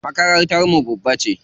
Makarantar mu babba ce.